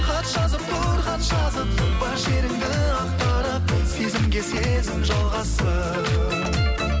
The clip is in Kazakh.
хат жазып тұр хат жазып бар шеріңді ақтарып сезімге сезім жалғассын